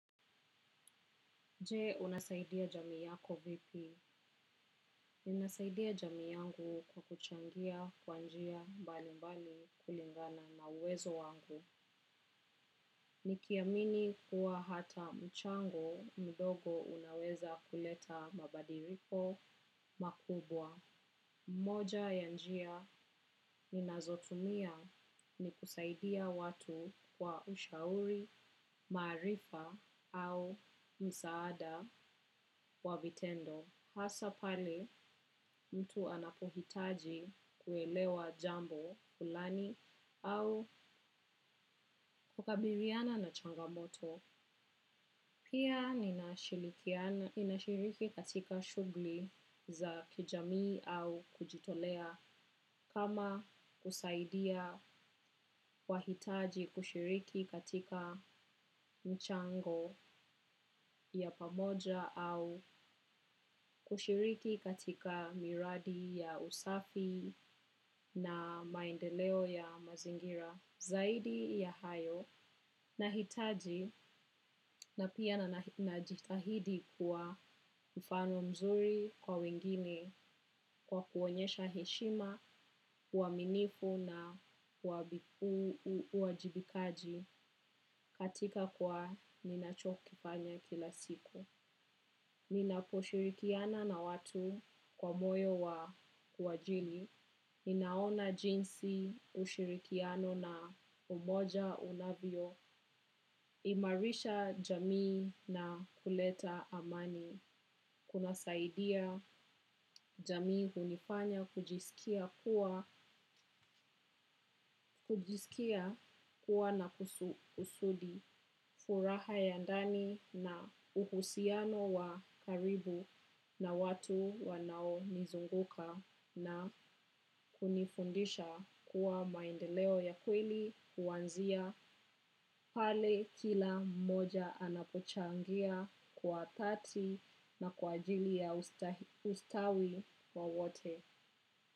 Je, unasaidia jamii yako vipi? Ninasaidia jamii yangu kwa kuchangia kwa njia mbali mbali kulingana na uwezo wangu. Nikiamini kuwa hata mchango mdogo unaweza kuleta mabadiliko makubwa. Moja ya njia ninazotumia ni kusaidia watu kwa ushauri, maarifa au msaada wa vitendo. Hasa pale mtu anapohitaji kuelewa jambo kulani au kukabiliana na changamoto. Pia ninashiriki katika shughuli za kijamii au kujitolea kama kusaidia wahitaji, kushiriki katika mchango ya pamoja au kushiriki katika miradi ya usafi na maendeleo ya mazingira. Zaidi ya hayo, nahitaji na pia na najitahidi kuwa mfano mzuri kwa wengine kwa kuonyesha heshima, uaminifu na uwajibikaji katika kwa ninachokifanya kila siku. Ninaposhirikiana na watu kwa moyo wa kuwajali. Ninaona jinsi ushirikiano na umoja unavyo. Imarisha jamii na kuleta amani. Kunasaidia jamii, hunifanya kujisikia kuwa kujisikia kuwa na kusudi furaha ya ndani na uhusiano wa karibu na watu wanao nizunguka na kunifundisha kuwa maendeleo ya kweli huanzia pale kila mmoja anapochangia kwa dhati na kwa ajili ya ustawi wa wote.